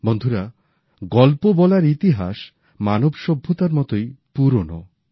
বন্ধুরা গল্প বলার ইতিহাস মানব সভ্যতার মতোই পুরানো